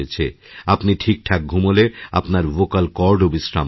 আপনি ঠিকঠাকঘুমোলে আপনার ভোকাল কর্ডও বিশ্রাম পাবে